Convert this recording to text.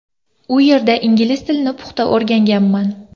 U yerda ingliz tilini puxta o‘rganganman.